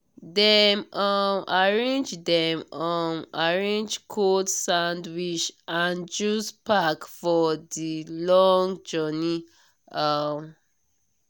dem um arrange dem um arrange cold sandwich and juice pack for the long journey. um